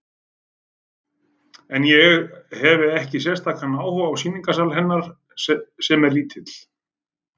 En ég hefi ekki sérstakan áhuga á sýningarsal hennar, sem er lítill.